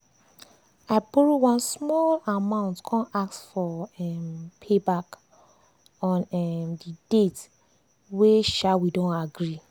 i borrow one small amount come ask for um payback on um the date wey um we don agree.